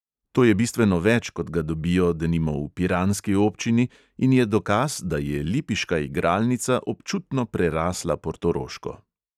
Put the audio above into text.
To je bistveno več, kot ga dobijo, denimo, v piranski občini, in je dokaz, da je lipiška igralnica občutno prerasla portoroško.